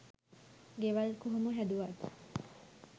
ගෙවල් කොහොම හැදුවත්